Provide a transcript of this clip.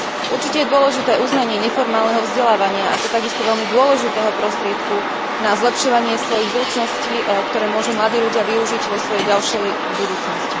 Určite je dôležité uznanie neformálneho vzdelávania ako takisto veľmi dôležitého prostriedku na zlepšovanie svojich zručností, ktoré môžu mladí ľudia využiť vo svojej ďalšej budúcnosti.